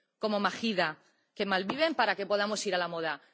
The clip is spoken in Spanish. como Mahida, que malviven para que podamos ir a la moda.